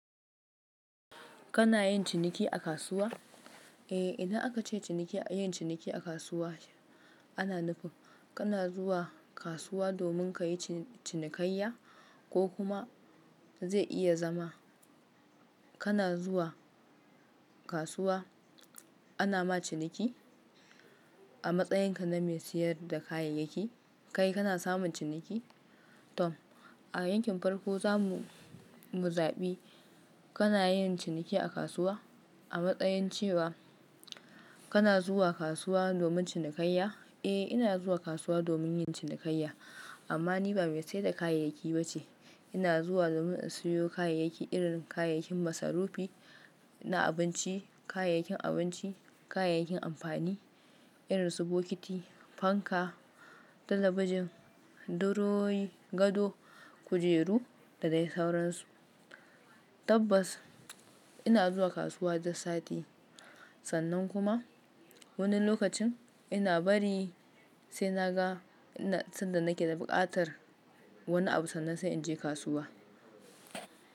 Kana yin ciniki a kasuwa? Eh, idan aka ce ciniki, yin ciniki a kasuwa ana nufin kana zuwa kasuwa domin kayi cinikayya ko kuma zai iya zama kana zuwa kasuwa ana ma ciniki a matsayinka na mai siyar da kayayyaki. Kai kana samun ciniki. Tom, a yankin farko za mu muzabi kana yin ciniki a kasuwa? A matsayin cewa kana zuwa kasuwa domin cinikayya? Eh, ina zuwa kasuwa domin yin cinikayya, amma ni ba mai saida kayayyaki bace. Ina zuwa domin in siyo kayayyaki irin kayayyakin masarufi na abinci, kayayyakin abinci, kayayyakin amfani irin su bokiti, fanka, talabijin, durowowi, gado, kujeru da dai sauransu. Tabbas ina zuwa kasuwa duk sati sannan kuma wani lokacin ina bari sai naga sanda nake da bukatar wani abu sannan sai inje kasuwa.